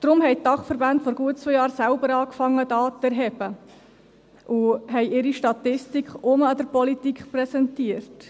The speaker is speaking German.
Deshalb begannen die Dachverbände vor gut zwei Jahren selbst Daten zu erheben und haben ihre Statistik wiederum der Politik präsentiert.